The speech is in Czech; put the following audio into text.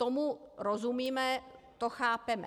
Tomu rozumíme, to chápeme.